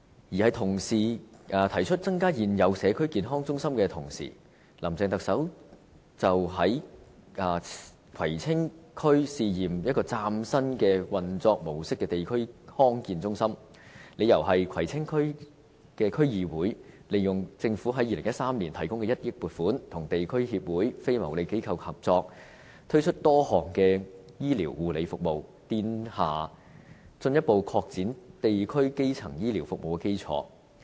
當同事提議增加現有社區健康中心的同時，林鄭特首表示將會在葵青區試驗運作一間嶄新模式的地區康健中心，理由是葵青區議會利用政府於2013年提供的1億元撥款，跟地區協會、非牟利機構合作，推出多項醫療護理服務，奠下進一步擴展地區基層醫療服務的基礎。